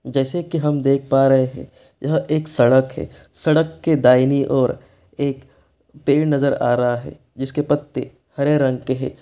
जैसे की हम देख पा रहे हैं यह एक सड़क है सड़क की दाहिनें ओर एक पेड़ नजर आ रहा है जिसके पत्ते हरे रंग के है।